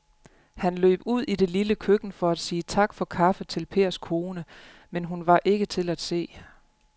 Han løb ud i det lille køkken for at sige tak for kaffe til Pers kone, men hun var ikke til at se.